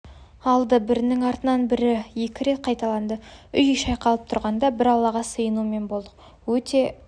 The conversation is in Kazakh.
алды бірінің артынан бірі екі рет қайталады үй шайқалып тұрғанда бір аллаға сыйынумен болдық өте